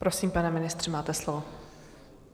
Prosím, pane ministře, máte slovo.